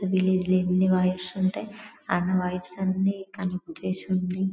ఈ విల్లెజి లో అన్ని వైర్స్ ఉంటాయి అ అన్ని వైర్స్ అన్ని కనెక్ట్ చేసి ఉండీ.